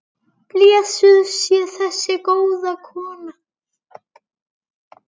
Blessuð sé þessi góða kona.